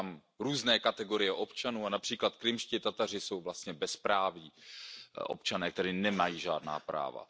Jsou tam různé kategorie občanů, a například Krymští Tataři jsou vlastně bezprávní občané, kteří nemají žádná práva.